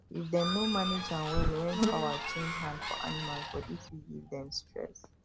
if dem no manage am well when power change hand for animals body fit give dem stress